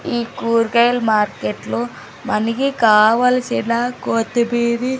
ఈ కూర్గాయల్ మార్కెట్లో మనకి కావల్సిన కొత్తిమీరి--